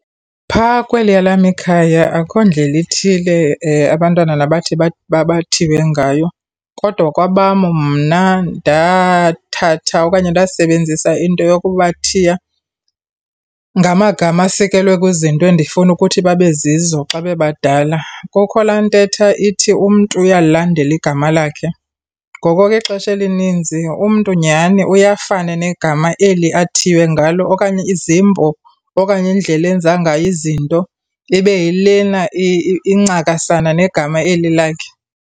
Phaa kweliya lam ikhaya akho ndlela ithile abantwana nabathi bathiywe ngayo. Kodwa kwabam mna ndathatha okanye ndasebenzisa into yokuba bathiya ngamagama asikelwe kwizinto endifuna kuthi babe zizo xa bebadala. Kukho laa ntetha ithi umntu uyalilandela igama lakhe. Ngoko ke ixesha elininzi umntu nyhani uye afana negama eli athiywe ngalo okanye izimbo okanye indlela enza ngayo izinto, ibe yilena incakasana negama eli lakhe.